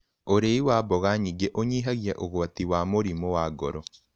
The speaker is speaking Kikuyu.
Ũrĩĩ wa mboga nyĩngĩ ũnyĩhagĩa ũgwatĩ wa mũrĩmũ wa ngoro